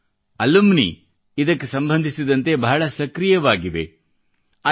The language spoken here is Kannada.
ಇಂದು ಅಲುಮಿನಿ ಇದಕ್ಕೆ ಸಂಬಂಧಿಸಿದಂತೆ ಬಹಳ ಸಕ್ರಿಯವಾಗಿವೆ